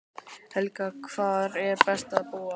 Helga: Hvar er best að búa?